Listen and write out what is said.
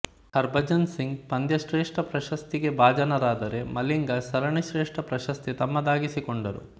ಹರಭಜನ್ ಸಿಂಗ್ ಪಂದ್ಯ ಶ್ರೇಷ್ಟ ಪ್ರಶಸ್ತಿ ಗೆ ಭಾಜನರಾದರೆ ಮಲಿಂಗಾ ಸರಣಿ ಶ್ರೇಷ್ಟ ಪ್ರಶಸ್ತಿ ತಮ್ಮದಾಗಿಸಿಕೊಂಡರು